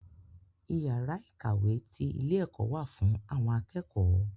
Iyàrá ìkàwé ti ilé ẹ̀kọ́ wà fún àwọn akẹ́kọ̀ọ́.